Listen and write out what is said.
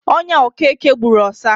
Onya okeke gburu ọsa.